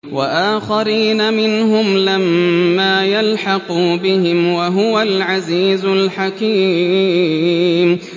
وَآخَرِينَ مِنْهُمْ لَمَّا يَلْحَقُوا بِهِمْ ۚ وَهُوَ الْعَزِيزُ الْحَكِيمُ